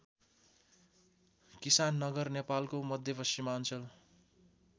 किसाननगर नेपालको मध्यमाञ्चल